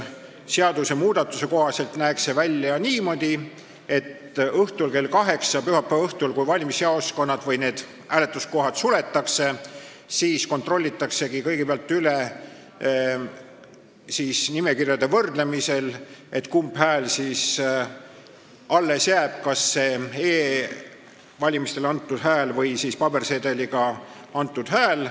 Seadusmuudatuse kohaselt näeks see välja niimoodi, et pühapäeva õhtul kell kaheksa, kui hääletuskohad suletakse, kontrollitaksegi kõigepealt nimekirju võrreldes, kumb hääl siis alles jääb, kas e-valimisel või pabersedeliga antud hääl.